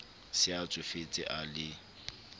se a tsofetse a le